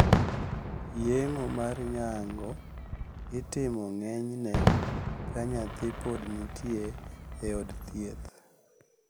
Yeng`o mar nyango itimo ng`enyne ka nyathi pod nitie e od thieth.